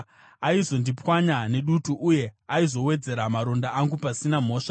Aizondiparadza nedutu uye achizowedzera maronda angu pasina mhosva.